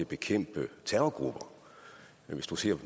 bekæmpe terrorgrupper